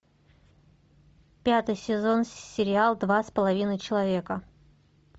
пятый сезон сериал два с половиной человека